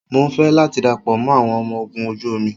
Mo ń fẹ́ láti darapọ̀ mọ́ àwọn ọmọ ogun ojú omi